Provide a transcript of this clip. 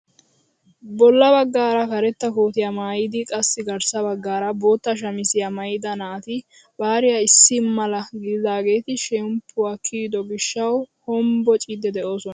Bolla baggaara karetta kootiyaa maayidi qassi garssa baggaara bootta shamisiyaa maayida naati bariyaa issi mala gididaageti shemppuwaa kiyido gishshawu honbbociidi de'oosona.